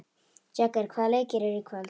Jagger, hvaða leikir eru í kvöld?